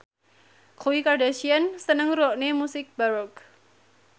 Khloe Kardashian seneng ngrungokne musik baroque